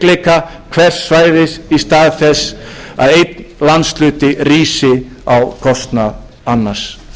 styrkleika hvers svæðis í stað þess að einn landshluti rísi á kostnað annars góðir